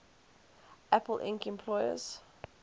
apple inc employees